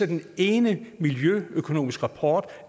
den ene miljøøkonomiske rapport